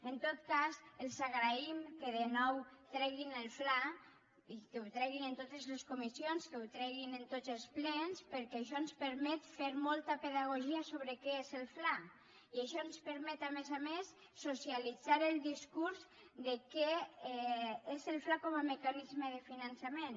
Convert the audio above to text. en tot cas els agraïm que de nou treguin el fla i que el treguin en totes les comissions que el treguin en tots els plens perquè això ens permet fer molta pedagogia sobre què és el fla i això ens permet a més a més socialitzar el discurs de què és el fla com a mecanisme de finançament